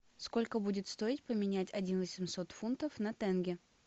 сколько будет стоить поменять один восемьсот фунтов на тенге